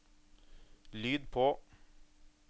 lyd på